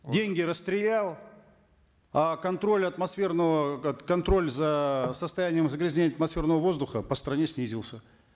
деньги расстрелял а контроль атмосферного контроль за состоянием загрязнения атмосферного воздуха по стране снизился